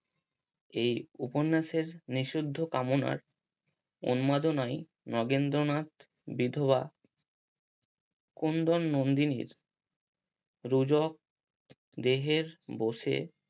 এই উপন্যাসের নিসুদ্ধ কামনার উন্মাদনায় নগেন্দ্রনাথ বিধবা কুন্দন নন্দিনীর রুজক দেহের বসে